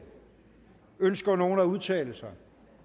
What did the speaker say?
ønsker nogen at udtale sig